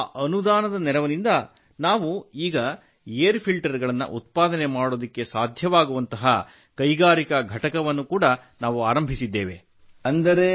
ಹಾಗೂ ಆ ಅನುದಾನದ ನೆರವಿನಿಂದ ನಾವು ಈಗ ಏರ್ ಫಿಲ್ಟರ್ ಗಳನ್ನು ಉತ್ಪಾದನೆ ಮಾಡಲು ಸಾಧ್ಯವಾಗುವಂತಹ ಕೈಗಾರಿಕಾ ಘಟಕವನ್ನು ಆರಂಭಿಸಿದ್ದೇವೆ